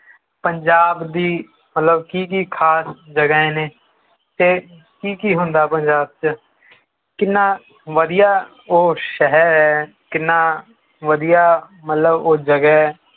ਪੰਜਾਬ ਦੀ ਮਤਲਬ ਕਿ ਕੀ ਖਾਸ ਜਗ੍ਹਾ ਨੇ ਤੇ ਕੀ ਕੀ ਹੁੰਦਾ ਪੰਜਾਬ ਚ ਕਿੰਨਾ ਵਧੀਆ ਉਹ ਸ਼ਹਿਰ ਹੈ ਕਿਰਨਾਂ ਵਧੀਆ ਉਹ ਮਤਲਬ ਜਗ੍ਹਾ ਹੈ